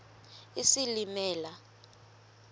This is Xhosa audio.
isilimela